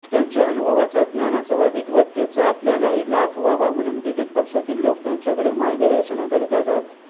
त्यांच्या अनुभवाचा ज्ञानाचा व विद्वत्तेचा आपल्यालाही लाभ व्हावा म्हणून विविध पक्षातील लोक त्यांच्याकडे मार्गदर्शनाकरिता जात